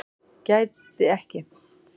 Gæti ekki